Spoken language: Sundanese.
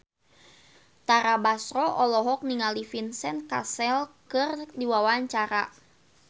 Tara Basro olohok ningali Vincent Cassel keur diwawancara